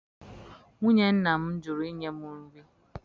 Nwunye nna m jụrụ inye m nri.